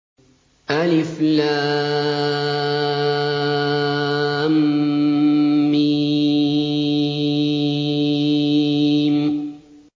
الم